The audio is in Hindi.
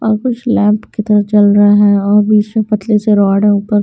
और कुछ लैंप की तरह चल रहा है और बीच में पतले से रोड है ऊपर--